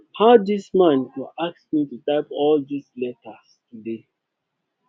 how dis man an go ask me to type all dis letters today